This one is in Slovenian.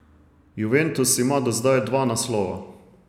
Juventus ima do zdaj dva naslova.